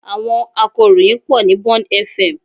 Àwọn akọ̀ròyìn pọ̀ ní Bond FM